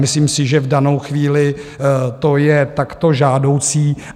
Myslím si, že v danou chvíli to je takto žádoucí.